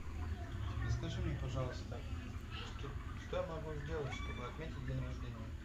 расскажи мне пожалуйста что я могу сделать чтобы отметить день рождения